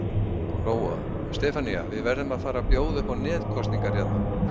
Lóa: Stefanía, verðum við að fara að bjóða upp á netkosningar hérna?